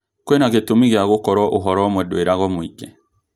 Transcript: Kwĩna gĩtũmi gĩa gũkorwo ũhoro ũmwe ndũĩaragwo mũingĩ